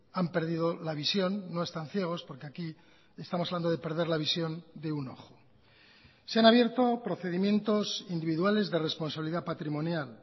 han perdido la visión no están ciegos porque aquí estamos hablando de perder la visión de un ojo se han abierto procedimientos individuales de responsabilidad patrimonial